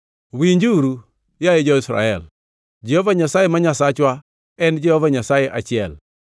Winjuru, yaye jo-Israel, Jehova Nyasaye ma Nyasachwa, en Jehova Nyasaye achiel.